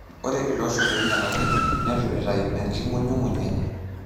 Ore iloshon loinyialaki netu itayu enkingunyunguny enye .